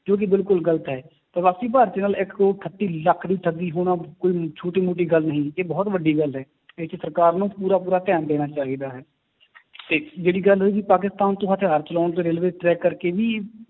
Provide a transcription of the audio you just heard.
ਜੋ ਕਿ ਬਿਲਕੁਲ ਗ਼ਲਤ ਹੈ, ਪ੍ਰਵਾਸੀ ਭਾਰਤੀਆਂ ਨਾਲ ਇੱਕ ਕਰੌੜ ਅਠੱਤੀ ਲੱਖ ਦੀ ਠੱਗੀ ਹੋਣਾ ਕੋਈ ਛੋਟੀ ਮੋਟੀ ਗੱਲ ਨਹੀਂ, ਇਹ ਬਹੁਤ ਵੱਡੀ ਗੱਲ ਹੈ ਇਹ 'ਚ ਸਰਕਾਰ ਨੂੰ ਪੂਰਾ ਪੂਰਾ ਧਿਆਨ ਦੇਣਾ ਚਾਹੀਦਾ ਹੈ ਤੇ ਜਿਹੜੀ ਗੱਲ ਰਹੀ ਪਾਕਿਸਤਾਨ ਤੋਂ ਹਥਿਆਰ ਚਲਾਉਣ ਤੇ railway track ਕਰਕੇ ਵੀ